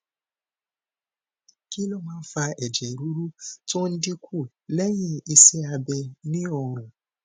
kí ló máa ń fa ẹjẹ ruru tó ń dín kù lẹyìn iṣẹ abẹ ni orun